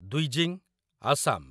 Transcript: Dwijing, Assam